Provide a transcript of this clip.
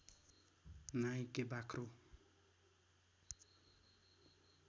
Nike बाख्रो